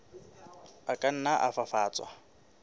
a ka nna a fafatswa